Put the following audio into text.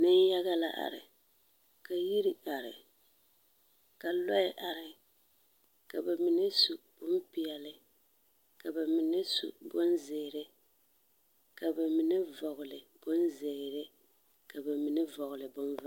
Neŋyaga la are, ka yir are, ka lͻԑ are. ka ba mine su bompeԑle, ka ba mine su bonzeere, ka ba mine vͻgele bonzeere, ka ba mine vͻgele bonvaare.